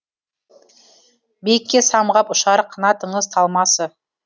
биікке самғап ұшар қанатыңыз талмасы